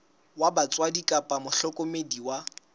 wa batswadi kapa mohlokomedi wa